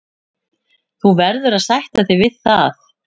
Þú verður að sætta þig við það.